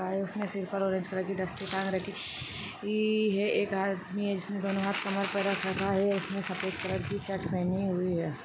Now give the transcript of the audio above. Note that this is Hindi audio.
उसने स्लीपर और रेड कलर की दस्ती पहन रखी ई है एक आदमी है इसने दोनों हाथ कमर पर रख रखा है उसने सफेद कलर की शर्ट पहनी हुई है।